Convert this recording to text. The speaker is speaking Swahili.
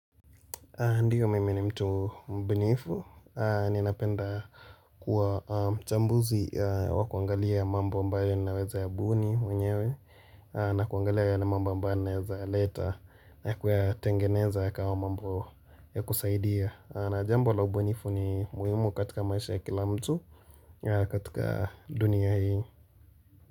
Ndiyo mimi ni mtu mbunifu, ninapenda kuwa mchambuzi wa kuangalia mambo ambayo ninaweza ya buni mwenyewe. Na kuangalia yale mambo ambayo ninaweza ya leta na kuyatengeneza ya kawa mambo ya kusaidia. Na jambo la ubunifu ni muhimu katika maisha ya kila mtu katika dunia hii.